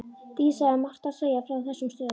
Dísa hafði margt að segja frá þessum stöðum.